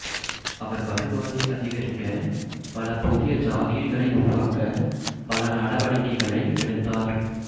அவர் வருவாயை அதிகரிக்க பல புதிய ஜாகிர்களை உருவாக்க பல நடவடிக்கைகளை எடுத்ததார்